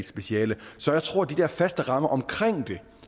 speciale så jeg tror at de faste rammer omkring det